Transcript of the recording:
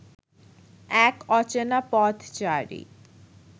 এক অচেনা পথচারী